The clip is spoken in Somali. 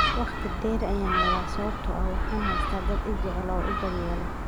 "Waqti dheer ayaan noolaa sababtoo ah waxaan haystaa dad i jecel oo i daryeela."